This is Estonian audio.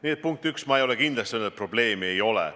Nii et punkt üks, ma ei ole kindlasti öelnud, et probleemi ei ole.